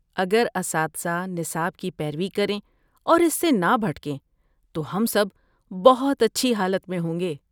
اگر اساتذہ نصاب کی پیروی کریں اور اس سے نہ بھٹکیں تو ہم سب بہت اچھی حالت میں ہوں گے۔